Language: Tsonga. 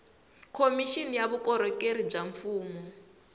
khomixini ya vukorhokeri bya mfumo